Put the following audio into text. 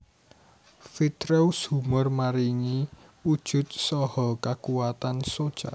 Vitreous humor maringi wujud saha kakuwatan soca